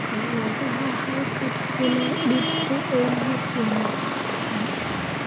Makhaayadaha halkan ku leh dib u eegis wanaagsan